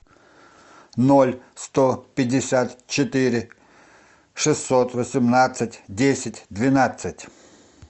ноль сто пятьдесят четыре шестьсот восемнадцать десять двенадцать